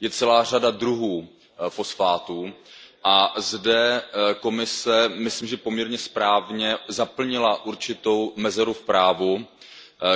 Je celá řada druhů fosfátů a zde Komise, myslím si, že poměrně správně zaplnila určitou mezeru v právu,